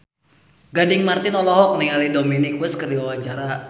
Gading Marten olohok ningali Dominic West keur diwawancara